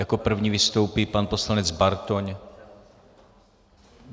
Jako první vystoupí pan poslanec Bartoň.